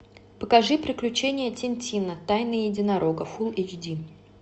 покажи приключения тинтина тайна единорога фулл эйч ди